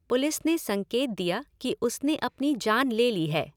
Police ने संकेत दिया कि उसने अपनी जान ले ली है।